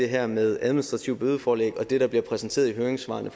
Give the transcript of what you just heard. her med administrativt bødeforelæg og det der bliver præsenteret i høringssvarene